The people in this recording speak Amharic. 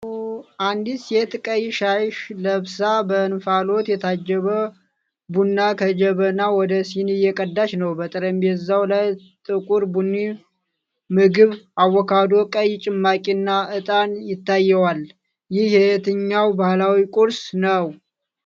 አንዲት ሴት ቀይ ሻሽ ለብሳ በእንፋሎት የታጀበ ቡና ከጀበና ወደ ሲኒ እየቀዳች ነው። በጠረጴዛው ላይ ጥቁር ቡኒ ምግብ፣ አቮካዶ፣ ቀይ ጭማቂና ዕጣን ታይተዋል፤ ይህ የትኛው ባህላዊ ቁርስ ነው?